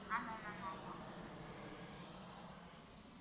ஆமா ma'am ஆமா